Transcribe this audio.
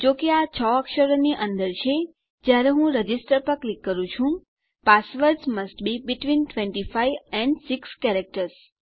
જો કે આ 6 અક્ષરોની અંદર છે જયારે હું રજિસ્ટર પર ક્લિક કરું છું passwords must be between 25 and 6 characters